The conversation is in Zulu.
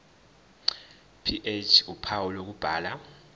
ph uphawu lokubhala